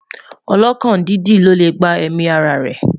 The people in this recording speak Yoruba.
ọlọkàn dídì ló lẹ gbà èmi ará rè